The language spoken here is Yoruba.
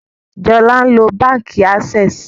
Jola nlo bánkì Access